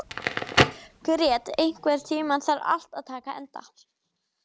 Grét, einhvern tímann þarf allt að taka enda.